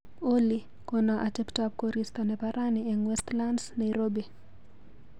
Olly, kona ateptap korista nebo rani eng Westlands, Nairobi.